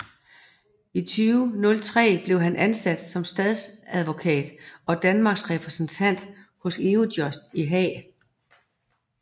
I 2003 blev han ansat som statsadvokat og Danmarks repræsentant hos Eurojust i Haag